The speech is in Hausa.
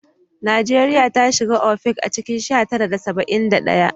Najeriya ta shiga OPEC a cikin sha tara da saba'in da ɗaya